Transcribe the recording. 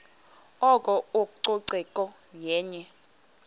oko ucoceko yenye